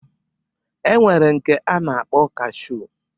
E nwere nke a na-akpọ kashuu